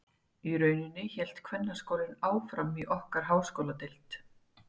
Í rauninni hélt kvennaskólinn áfram í okkar háskóladeild.